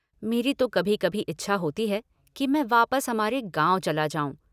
मेरी तो कभी कभी इच्छा होती है कि मैं वापस हमारे गाँव चला जाऊँ।